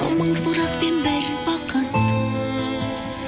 мың сұрақпен бір бақыт